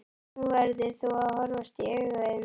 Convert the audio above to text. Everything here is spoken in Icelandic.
Nú verður þú að horfast í augu við mig.